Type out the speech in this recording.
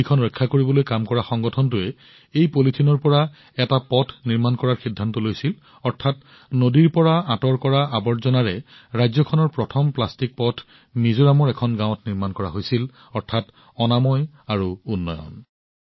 নদীখন বচাবলৈ কাম কৰা সংগঠনটোৱে এই পলিথিনৰ পৰা এটা পথ নিৰ্মাণ কৰাৰ সিদ্ধান্ত লৈছিল অৰ্থাৎ নদীৰ পৰা ওলোৱা আৱৰ্জনাৰ পৰা ৰাজ্যখনৰ প্ৰথমটো প্লাষ্টিক পথ মিজোৰামৰ এখন গাঁৱত নিৰ্মাণ কৰা হৈছিল অৰ্থাৎ স্বচ্ছতাও আৰু উন্নয়নো